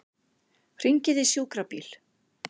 Hringið í sjúkrabíl.